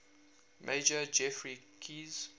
major geoffrey keyes